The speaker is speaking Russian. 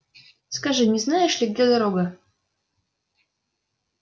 скажи не знаешь ли где дорога